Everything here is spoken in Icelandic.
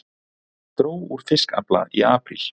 Dró úr fiskafla í apríl